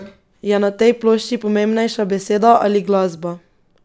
Je na tej plošči pomembnejša beseda ali glasba?